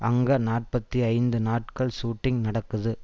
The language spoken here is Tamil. அங்க நாற்பத்தி ஐந்து நாட்கள் சூட்டிங் நடக்குது